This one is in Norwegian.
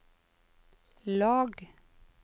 lag